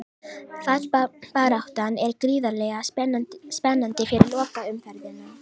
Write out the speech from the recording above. Fallbaráttan er gríðarlega spennandi fyrir lokaumferðina.